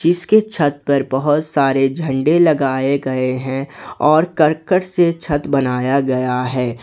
इसके छत पर बहुत सारे झंडे लगाए गए हैं और करकट से छत बनाया गया है।